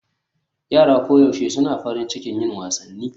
Yara koyaushe suna farin cikin yin wasanni